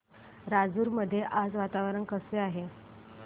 राजूर मध्ये आज वातावरण कसे आहे